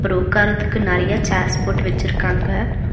அப்றோ உக்கார்ரதுக்கு நெறைய சேர்ஸ் போட்டு வெச்சிருக்காங்க.